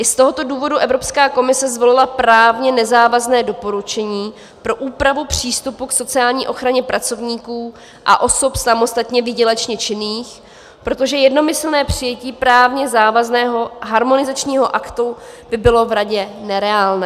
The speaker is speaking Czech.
I z tohoto důvodu Evropská komise zvolila právně nezávazné doporučení pro úpravu přístupu k sociální ochraně pracovníků a osob samostatně výdělečně činných, protože jednomyslné přijetí právně závazného harmonizačního aktu by bylo v Radě nereálné.